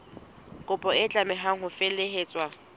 kopo e tlameha ho felehetswa